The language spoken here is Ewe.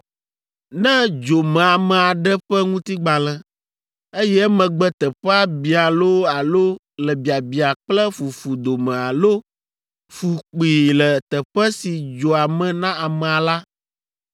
“Ne dzo me ame aɖe ƒe ŋutigbalẽ, eye emegbe teƒea biã loo alo le biabiã kple fufu dome alo fu kpii le teƒe si dzoa me na amea la,